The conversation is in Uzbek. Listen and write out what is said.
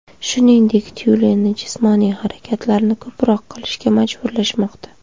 Shuningdek, tyulenni jismoniy harakatlarni ko‘proq qilishga majburlashmoqda.